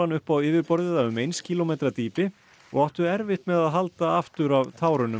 upp á yfirborðið af um eins kílómetra dýpi og áttu erfitt með að halda aftur af